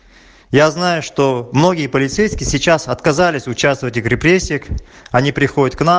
я знаю что многие полицейские сейчас отказались участвовать в репрессиях они приходят к нам